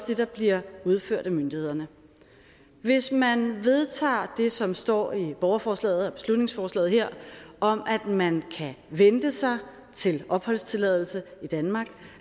det der bliver udført af myndighederne hvis man vedtager det som står i borgerforslaget og beslutningsforslaget her om at man kan vente sig til opholdstilladelse i danmark